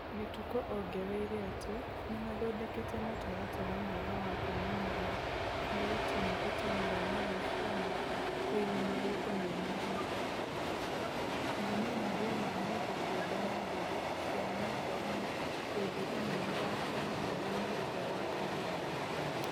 Gĩtũkũ ongereire atĩ nĩmathondekete mũtaratara mwega wa kwĩmenyeria harĩa timũ ĩteng'eraga rũciinĩ kũiga marũngo memagima, memenyeria ma mũndũ kĩũmbe na ndereti cia nyendainĩ hĩndĩ ĩno mathako marũgamĩtio gwa kahinda.